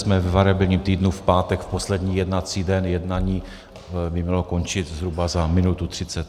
Jsme ve variabilním týdnu, v pátek, v poslední jednací den, jednání by mělo končit zhruba za minutu třicet.